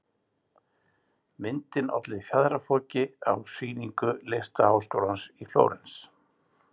Myndin olli fjaðrafoki á sýningu Listaskólans í Flórens.